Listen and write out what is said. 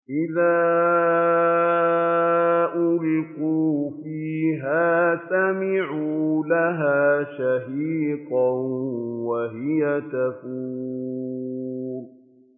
إِذَا أُلْقُوا فِيهَا سَمِعُوا لَهَا شَهِيقًا وَهِيَ تَفُورُ